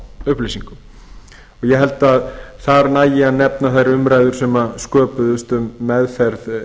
persónuupplýsingum ég held að þar nægi að nefna þær umræður sem sköpuðust um meðferð